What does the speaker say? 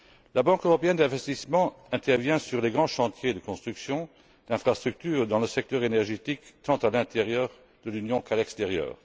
La Banque européenne d'investissement intervient sur les grands chantiers de construction d'infrastructures, dans le secteur énergétique tant à l'intérieur de l'Union qu'à l'extérieur.